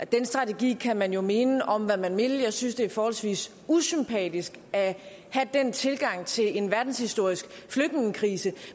den strategi kan man jo mene om hvad man vil jeg synes det er forholdsvis usympatisk at have den tilgang til en verdenshistorisk flygtningekrise